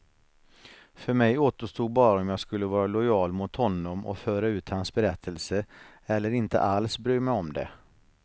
För mig återstod bara om jag skulle vara lojal mot honom och föra ut hans berättelse, eller inte alls bry mig om det.